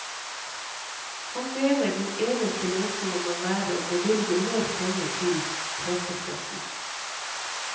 Han mener den eneste løsningen må være å bevilge mer penger til pressestøtten.